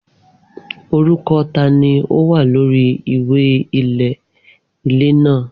Orúkọ tá ni ó wà lórí ìwé ilẹ̀ ilé náà?